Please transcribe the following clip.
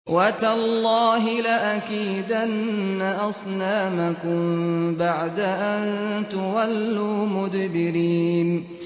وَتَاللَّهِ لَأَكِيدَنَّ أَصْنَامَكُم بَعْدَ أَن تُوَلُّوا مُدْبِرِينَ